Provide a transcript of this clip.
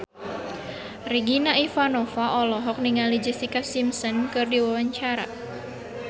Regina Ivanova olohok ningali Jessica Simpson keur diwawancara